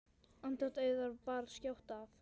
Andlát Auðar bar skjótt að.